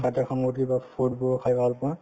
কিবা food বোৰ খাই ভাল পোৱা